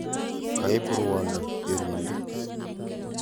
Kaib ruondo tienindet.